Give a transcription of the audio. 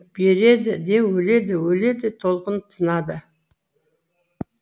береді де өледі өледі толқын тынады